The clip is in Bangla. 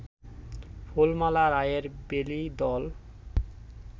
ফুলমালা রায়ের বেলী দল